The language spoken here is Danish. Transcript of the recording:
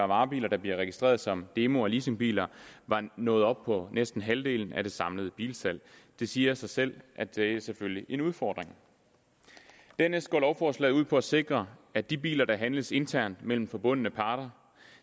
varebiler der bliver registreret som demo og leasingbiler var nået op på næsten halvdelen af det samlede bilsalg det siger sig selv at det selvfølgelig er en udfordring dernæst går lovforslaget ud på at sikre at de biler der handles internt mellem forbundne parter